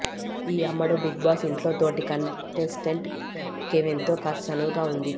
ఈ అమ్మడు బిగ్బాస్ ఇంట్లో తోటి కంటెస్టెంట్ కెవిన్తో కాస్త చనువుగా ఉంది